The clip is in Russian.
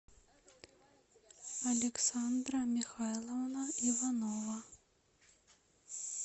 александра михайловна иванова